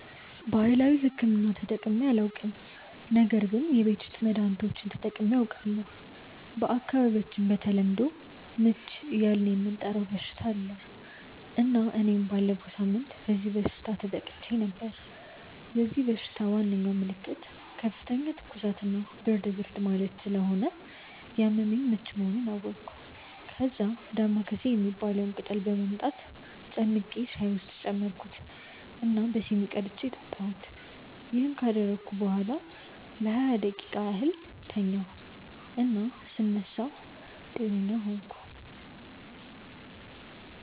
ባህላዊ ሕክምና ተጠቅሜ አላውቅም ነገር ግን የቤት ውስጥ መድሀኒቶችን ተጠቅሜ አውቃለሁ። በአካባቢያቸው በተለምዶ "ምች" እያልን የምንጠራው በሽታ አለ እና እኔም ባለፈው ሳምንት በዚህ በሽታ ተጠቅቼ ነበር። የዚህ በሽታ ዋናው ምልክት ከፍተኛ ትኩሳት እና ብርድ ብርድ ማለት ስለሆነ ያመመኝ ምች መሆኑን አወቅኩ። ከዛ "ዳማከሴ" የሚባለውን ቅጠል በማምጣት ጨምቄ ሻይ ውስጥ ጨመርኩት እና በሲኒ ቀድቼ ጠጣሁ። ይሄን ካደረግኩ በኋላ ለሃያ ደቂቃ ያህል ተኛሁ እና ስነሳ ጤነኛ ሆንኩ።